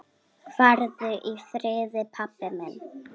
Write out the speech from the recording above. Farðu í friði, pabbi minn.